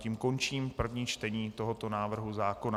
Tím končím první čtení tohoto návrhu zákona.